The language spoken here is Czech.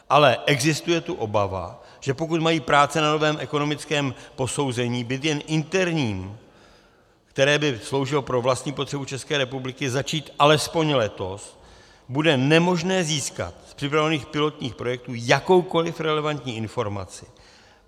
Ale existuje tu obava, že pokud mají práce na novém ekonomickém posouzení být jen interním, které by sloužilo pro vlastní potřebu České republiky, začít alespoň letos, bude nemožné získat z připravovaných pilotních projektů jakoukoliv relevantní informaci.